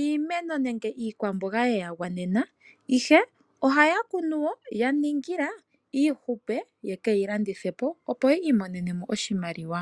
iimeno nenge iikwamboga ye ya gwanena, ihe ohaa kunu wo ya ningila iihupe yeke yi landithe po, opo yi imonene mo oshimaliwa .